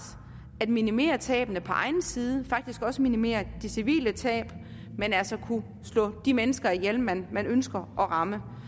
at minimere tabene på egen side og faktisk også minimere de civile tab men altså til at kunne slå de mennesker ihjel man man ønsker at ramme